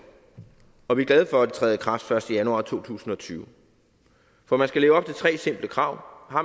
og vi er glade for at det træder i kraft den første januar to tusind og tyve for man skal leve op til tre simple krav